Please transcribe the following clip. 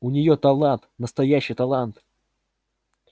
у неё талант настоящий талант